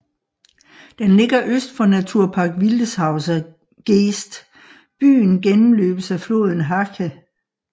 Den ligger øst for Naturpark Wildeshauser Geest Byen gennemløbes af floden Hache